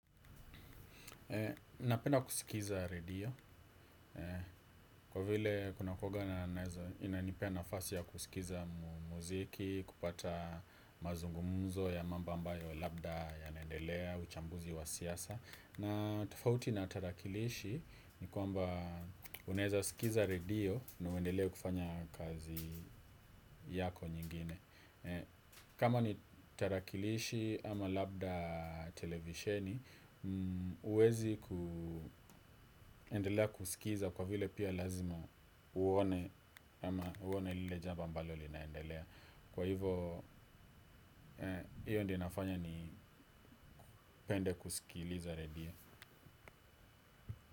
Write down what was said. Napenda kusikiza redio, kwa vile kunakuanga naweza inanipea nafasi ya kusikiza muziki, kupata mazungumuzo ya mambo ambayo labda yanaendelea, uchambuzi wa siasa na tofauti na tarakilishi ni kwamba unaweza sikiza redio na uendelee kufanya kazi yako nyingine. Kama ni tarakilishi ama labda televisheni huwezi kuendelea kusikiza kwa vile pia lazima uone ama uone lile jambo ambalo linaendelea kwa hivyo hiyo ndiyo inafanya nipende kusikiliza redio.